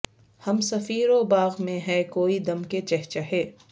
ہم سفیرو باغ میں ہے کوئی دم کے چہچہے